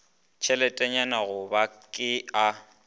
tšheletenyana go ba ke a